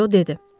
Röy dedi.